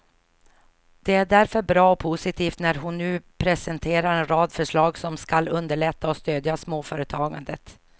Det är därför bra och positivt när hon nu presenterar en rad förslag som skall underlätta och stödja småföretagandet.